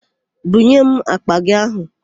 Bunye m àkpà gị áhụ̀!